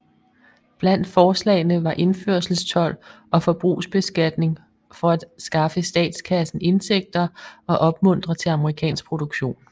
Blandt forslagene var indførselstold og forbrugsbeskatning for at skaffe statskassen indtægter og opmuntre til amerikansk produktion